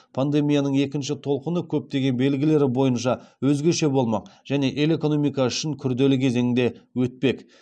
пандемияның екінші толқыны көптеген белгілері бойынша өзгеше болмақ және ел экономикасы үшін күрделі кезеңде өтпек